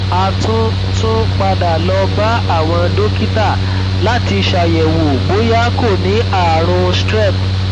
a tún tún padà lọ bá àwọn dókítà láti ṣàyẹwò bóyá kò ní ààrùn strep